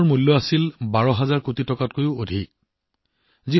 এই ঔষধসমূহৰ ব্যয় আছিল ১২ হাজাৰ কোটিতকৈও অধিক